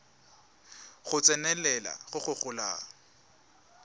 go tsenelela go go golang